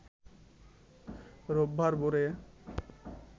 রোববার ভোরে